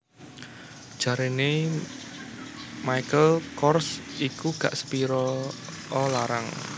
Jarene Michael Kors iku gak sepiro o larang